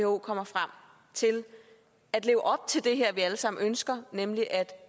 who kommer frem til at leve op til det her som vi alle sammen ønsker nemlig at